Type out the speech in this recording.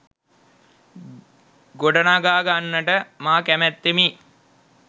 ගොඩනගාගන්නට මා කැමැත්තෙමි.